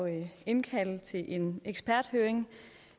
at indkalde til en eksperthøring